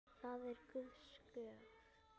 Það er Guðs gjöf.